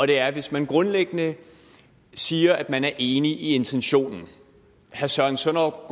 det er hvis man grundlæggende siger at man er enig i intentionen herre søren søndergaard